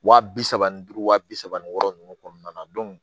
Wa bi saba ni duuru wa bi saba wɔɔrɔ nunnu kɔnɔna na